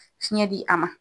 Fiɲɛ di a ma.